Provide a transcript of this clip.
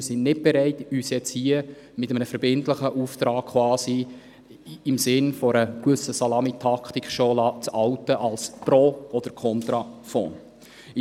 Wir sind nicht bereit, uns jetzt hier mit einem verbindlichen Auftrag quasi im Sinn einer gewissen Salamitaktik als pro oder contra Fonds zu outen.